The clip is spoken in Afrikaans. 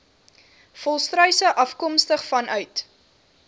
volstruise afkomstig vanuit